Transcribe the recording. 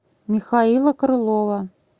михаила крылова